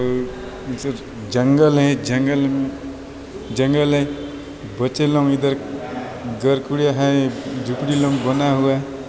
जंगल है जंगल जंगल है। बच्चे लोग इधर घर कुड़िया है झोपडी लोग बना हुआ है